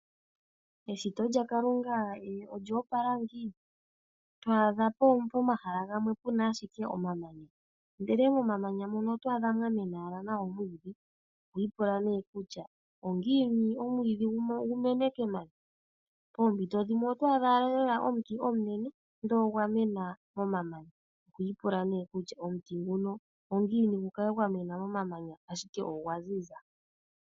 Eshito lyaKalunga olya opala ngiini, to adha pomahala gamwe puna ashike omamanya ndele momamamanya mono oto adha mwa mena owala nawa omwiidhi. Oho ipula nee kutya ongiini omwiidhi gu mene kemanya? Poompito dhimwe oto adha owala lela omuti omunene ndele ogwa mena momamanya, oho ipula nee kutya omuti nguno ongiini gu kale gwa mena momomanya ashike ogwa ziza?